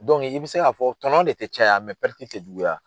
i bi se k'a fɔ tɔnɔ de ti caya te juguya.